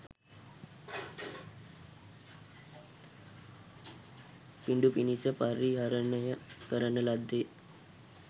පිඩු පිණිස පරිහරණය කරන ලද්දේ